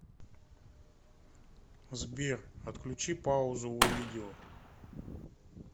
сбер отключи паузу у видео